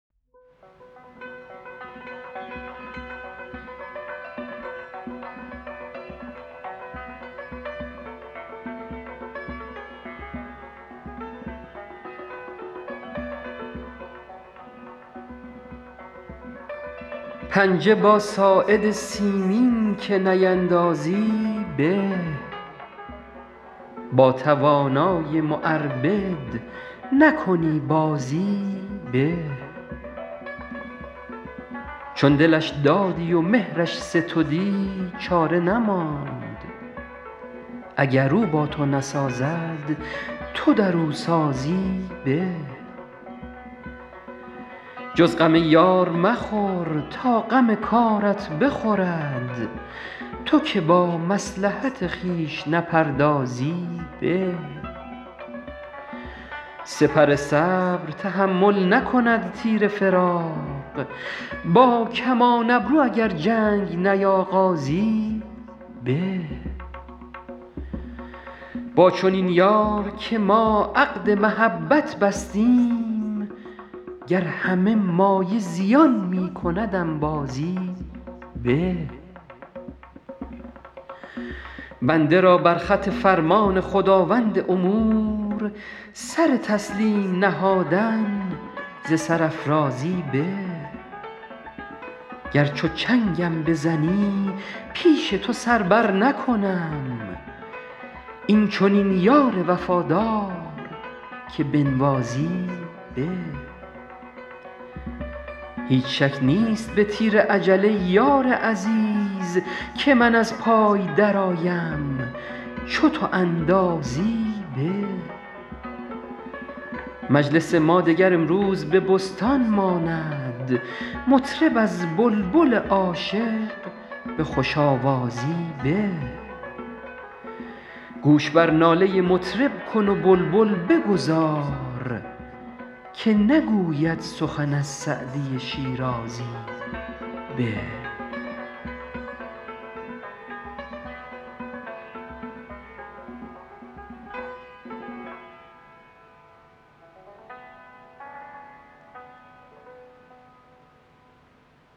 پنجه با ساعد سیمین که نیندازی به با توانای معربد نکنی بازی به چون دلش دادی و مهرش ستدی چاره نماند اگر او با تو نسازد تو در او سازی به جز غم یار مخور تا غم کارت بخورد تو که با مصلحت خویش نپردازی به سپر صبر تحمل نکند تیر فراق با کمان ابرو اگر جنگ نیاغازی به با چنین یار که ما عقد محبت بستیم گر همه مایه زیان می کند انبازی به بنده را بر خط فرمان خداوند امور سر تسلیم نهادن ز سرافرازی به گر چو چنگم بزنی پیش تو سر برنکنم این چنین یار وفادار که بنوازی به هیچ شک نیست به تیر اجل ای یار عزیز که من از پای درآیم چو تو اندازی به مجلس ما دگر امروز به بستان ماند مطرب از بلبل عاشق به خوش آوازی به گوش بر ناله مطرب کن و بلبل بگذار که نگوید سخن از سعدی شیرازی به